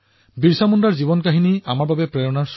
তেওঁৰ জীৱন জনতাৰ বাবে অনুপ্ৰেৰণা হৈ আছে